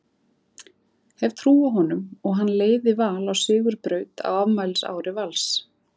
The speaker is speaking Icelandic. Hef trú á honum og hann leiði Val á sigurbraut á afmælisári Vals.